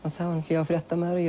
ég var fréttamaður og